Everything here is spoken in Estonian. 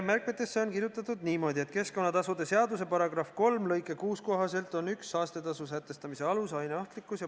Märkmetesse on kirjutatud niimoodi, et keskkonnatasude seaduse § 3 lõike 6 kohaselt on üks saastetasu sätestamise alus aine ohtlikkus.